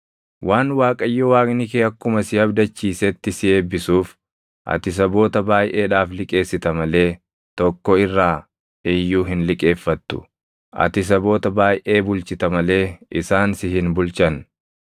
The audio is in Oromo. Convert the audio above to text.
Waan Waaqayyo Waaqni kee akkuma si abdachiisetti si eebbisuuf ati saboota baayʼeedhaaf liqeessita malee tokko irraa iyyuu hin liqeeffattu. Ati saboota baayʼee bulchita malee isaan si hin bulchan.